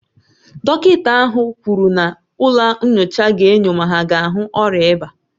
Dọkịta ahụ kwuru na ụlọ nyocha ga-enyo ma ha ga ahu ọrịa ịba